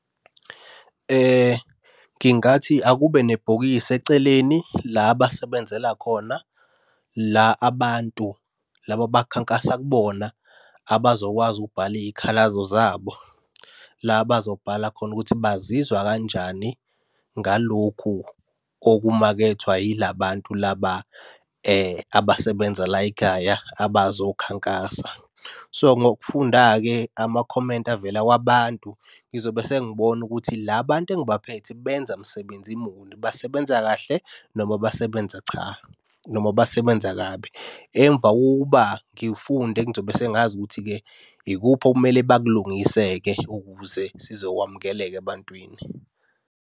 Ngingathi akube nebhokisi eceleni la abasebenzela khona. La abantu laba abakhankasa kubona abazokwazi ukubhala iy'khalazo zabo. La abazobhala khona ukuthi bazizwa kanjani ngalokhu okumakethwa yila bantu laba abasebenza la ekhaya abazokhankasa. So, ngokufunda-ke amakhomenti avela kwabantu ngizobe sengibona ukuthi la bantu engibaphethe benza msebenzi muni, basebenza kahle noma basebenza cha, noma basebenza kabi. Emva kokuba ngifunde ngizobe sengazi ukuthi-ke ikuphi okumele bakulungise-ke ukuze sizokwamukeleka ebantwini.